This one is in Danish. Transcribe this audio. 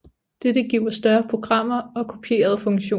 Dette giver større programmer og kopierede funktioner